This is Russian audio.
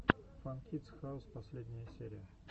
фан кидс хаус последняя серия